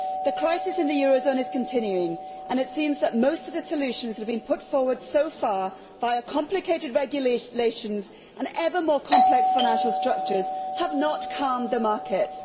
The crisis in the eurozone is continuing and it seems that most of the solutions that have been put forward so far via complicated regulations and ever more complex financial structures have not calmed the markets.